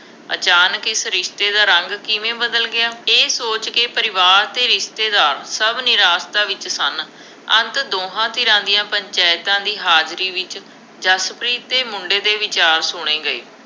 ਅਚਾਨਕ ਇਸ ਰਿਸ਼ਤੇ ਦਾ ਰੰਗ ਕਿਵੇਂ ਬਦਲ ਗਿਆ, ਇਹ ਸੋਚਕੇ ਪਰਿਵਾਰ ਅਤੇ ਰਿਸ਼ਤੇਦਾਰ ਸ਼ਭ ਨਿਰਾਸ਼ਤਾ ਵਿੱਚ ਸਨ। ਅੰਤ ਦੋਹਾਂ ਧਿਰਾਂ ਦੀਆ ਪੰਚਾਇਤਾਂ ਦੀ ਹਾਜ਼ਰੀ ਵਿੱਚ ਜਸਪ੍ਰੀਤ ਅਤੇ ਮੁੰਡੇ ਦੇ ਵਿਚਾਰ ਸੁਣੇ ਗਏ।